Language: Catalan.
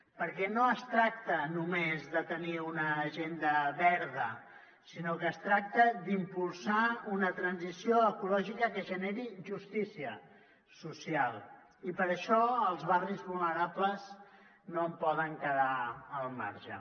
perquè no es tracta només de tenir una agenda verda sinó que es tracta d’impulsar una transició ecològica que generi justícia social i per això els barris vulnerables no en poden quedar al marge